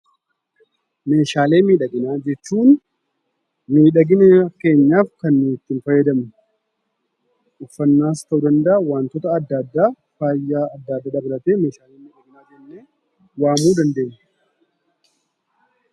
Meeshaalee miidhaginaa jechuun miidhagina keenyaaf kan nuti itti fayyadamnu, uffannaas ta'uu danda'a waantota adda addaa faaya addaa dabalatee meeshaalee miidhaginaa jennee waamuu dandeenya.